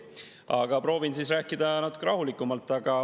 Aga proovin rääkida natuke rahulikumalt.